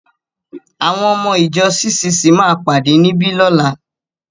Àwọn ọmọ-ìjọ CCC máa pàdé níbí lọ́la.